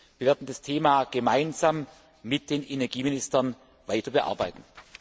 Wir werden das Thema gemeinsam mit den Energieministern weiter bearbeiten.